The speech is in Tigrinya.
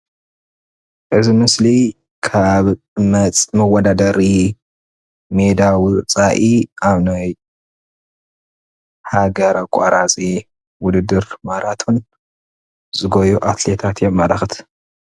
እዚ ምስሊ ካብ መወዳደሪ ሜዳ ወፃኢ ኣብ ናይ ሃገር ኣቋራፂ ውድድር ማራቶን ዝጎዩ ኣትሌታት የመላክት፡፡